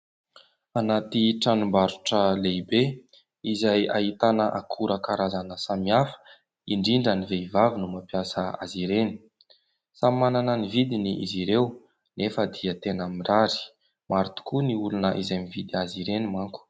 Anaty tranombarotra lehibe izay ahitana akora karazana samihafa, indrindra ny vehivavy no mampiasa azy ireny. Samy manana ny vidiny izy ireo, nefa dia tena mirary. Maro tokoa ny olona izay mividy azy ireny manko.